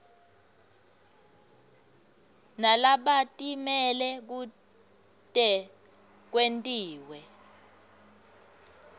nalabatimele kute kwentiwe